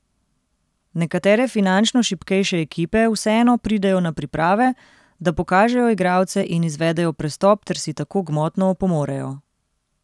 Nekatere finančno šibkejše ekipe vseeno pridejo na priprave, da pokažejo igralce in izvedejo prestop ter si tako gmotno opomorejo.